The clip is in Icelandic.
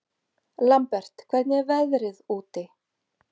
Lambert, hvernig er veðrið úti?